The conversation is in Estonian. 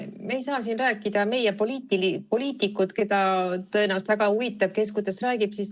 Me ei saa siin rääkida meie poliitikutest, keda tõenäoliselt väga huvitab, kes kuidas räägib.